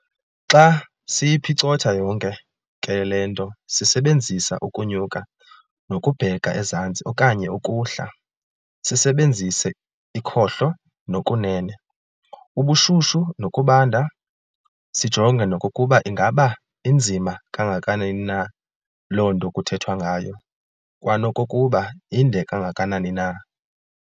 Xa siyiphicotha yonke ke le nto sisebenzisa ukunyuka nokubheka ezantsi okanye ukuhla, sisebenzise ikhohlo nokunene, ubushushu nokubanda, sijonge nokokuba ingaba inzima kangakanani na loo nto kuthethwa ngayo, kwanokokuba indekangakanani na.